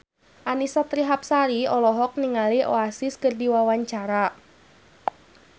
Annisa Trihapsari olohok ningali Oasis keur diwawancara